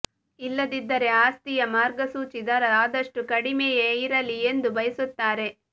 ಇಲ್ಲದಿದ್ದರೆ ಆಸ್ತಿಯ ಮಾರ್ಗಸೂಚಿ ದರ ಆದಷ್ಟು ಕಡಿಮೆಯೇ ಇರಲಿ ಎಂದು ಬಯಸುತ್ತಾರೆ